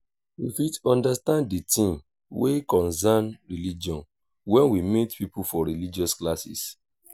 we fit undersand the things wey concern religion when we meet pipo for religious classes